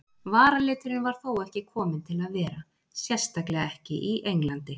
Varaliturinn var þó ekki kominn til að vera, sérstaklega ekki í Englandi.